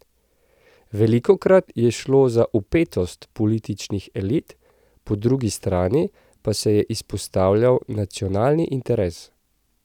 Velikokrat je šlo za vpetost političnih elit, po drugi strani pa se je izpostavljal nacionalni interes.